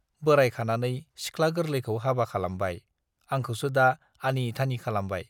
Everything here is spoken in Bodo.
बोराइखानानै सिख्ला गोरलैखौ हाबा खालामबाय, आंखौसो दा आनि-थानि खालामबाय।